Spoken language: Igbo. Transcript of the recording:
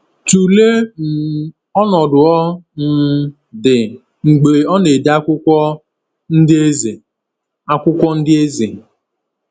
Tụlee um ọnọdụ ọ um dị mgbe ọ na-ede akwụkwọ Ndị Eze. akwụkwọ Ndị Eze.